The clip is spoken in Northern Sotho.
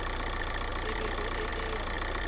e bego e le ya